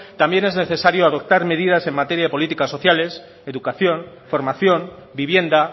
también es necesario adoptar medidas en materia de políticas sociales educación formación vivienda